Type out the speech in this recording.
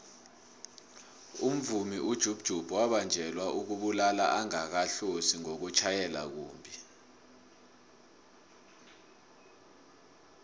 umvumi ujub jub wabanjelwa ukubulala angakahlosi nokutjhayela kumbhi